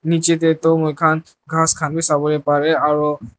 nishi tey moi khan grass khan b sawo parey aro.